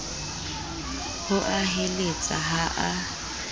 ho a heletsa ha a